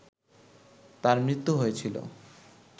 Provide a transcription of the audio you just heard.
তার মৃত্যু হয়েছিল